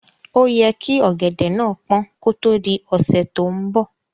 Óyẹ kí ọ̀gẹ̀dẹ̀ náà pọ́n kó tó di ọ̀sẹ́ tó ń bọ̀.